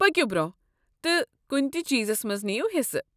پٔکِو برٛۄنٛہہ تہٕ کنہ تہ چیزس منٛز نیو حصہٕ۔